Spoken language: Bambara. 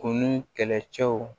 Kunun kɛlɛcɛw